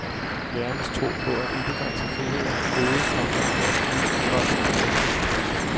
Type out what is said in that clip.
Lærernes tro på at ubegrænset frihed er et gode, komma og alt nyt er godt nyt. punktum